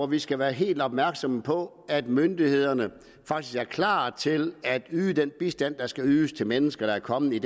vi skal være helt opmærksomme på at myndighederne faktisk er klar til at yde den bistand der skal ydes til mennesker der er kommet i